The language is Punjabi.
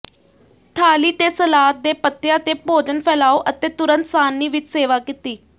ਥਾਲੀ ਤੇ ਸਲਾਦ ਦੇ ਪੱਤਿਆਂ ਤੇ ਭੋਜਨ ਫੈਲਾਓ ਅਤੇ ਤੁਰੰਤ ਸਾਰਣੀ ਵਿੱਚ ਸੇਵਾ ਕੀਤੀ